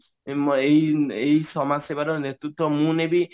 ଏଇ ଏଇ ସମାଜ ସେବାର ନେତୃତ୍ଵ ମୁଁ ନେବି